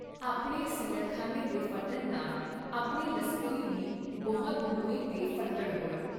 ਆਪਣੇ ਸਿਲਹਖਾਨੇ ਦੇ ਫਟਣ ਨਾਲ ਆਪਣੇ ਲਸਕਰੀ ਬੀ ਬਹੁਤ ਮੋਏ ਤੇ ਫੱਟੜ ਹੋਏ।